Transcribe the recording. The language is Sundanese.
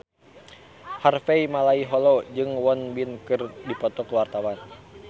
Harvey Malaiholo jeung Won Bin keur dipoto ku wartawan